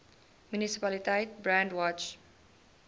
munisipaliteit brandwatch